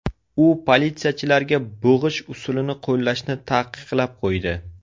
U politsiyachilarga bo‘g‘ish usulini qo‘llashni taqiqlab qo‘ydi.